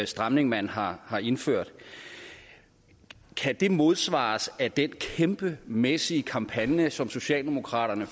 stramning man har har indført kan modsvares af den kæmpemæssige kampagne som socialdemokraterne